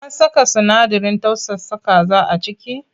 An saka sinadarin tausasa kaza a ciki?